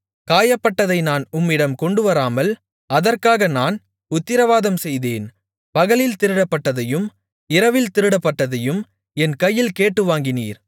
காயப்பட்டதை நான் உம்மிடம் கொண்டுவராமல் அதற்காக நான் உத்திரவாதம்செய்தேன் பகலில் திருடப்பட்டதையும் இரவில் திருடப்பட்டதையும் என் கையில் கேட்டு வாங்கினீர்